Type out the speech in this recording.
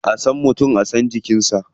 A san mutum a san cinikinsa.